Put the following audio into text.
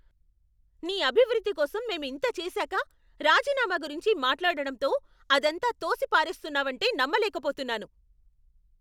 నీ అభివృద్ధి కోసం మేం ఇంత చేసాక, రాజీనామా గురించి మాట్లాడటంతో అదంతా తోసిపారేస్తున్నావంటే నమ్మలేకపోతున్నాను.